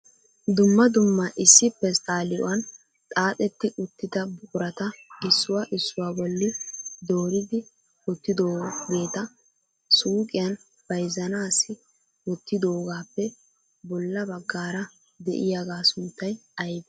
Dumma dumma issi pesttaliuan xaaxxetti uttida buqurata issuwaa issuwa bolli dooridi wottidoogeeta suuqqiyan bayzzanassi wootidoogappe bolla baggaara de'iyaaga sunttay aybbee?